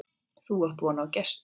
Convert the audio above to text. Þú átt von á gestum.